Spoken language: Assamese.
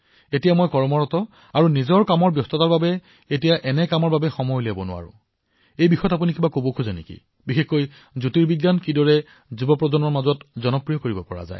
এতিয়া মই কামৰ বাবে এই নিৰীক্ষণত সময় দিব নোৱাৰা হৈছোকিন্তু আপুনি এই সন্দৰ্ভত কিবা কব পাৰে নেকি বিশেষকৈ জ্যোতিৰ্বিজ্ঞানক যুৱচামৰ মাজত কিদৰে জনপ্ৰিয় কৰিব পাৰি